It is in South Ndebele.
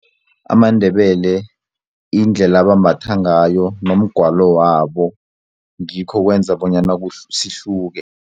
AmaNdebele indlela abambatha ngayo nomgwalo wabo ngikho okwenza bonyana sihluke.